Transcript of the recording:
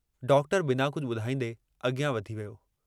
doctor मुरकन्दे चयो "कुझ डींह "त बि घणा डींहं.....